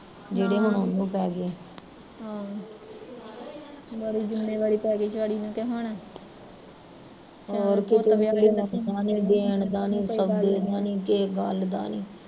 ਗਾੜੀ ਹੁਣ ਜਿਮੇਵਾਰੀ ਪੈਗੀ ਮੈਂ ਕਿਹਾ ਹੁਣ